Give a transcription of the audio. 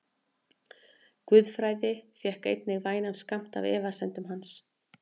Guðfræði fékk einnig vænan skammt af efasemdum hans.